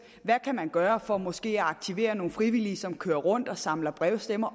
hvad man kan gøre for måske at aktivere nogle frivillige som kører rundt og samler brevstemmer